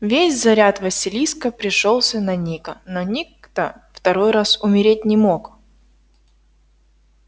весь заряд василиска пришёлся на ника но ник-то второй раз умереть не мог